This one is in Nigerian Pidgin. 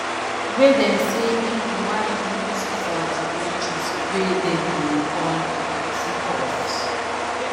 wey dem say im bin wan use for di orgies wey dem dey call freakoffs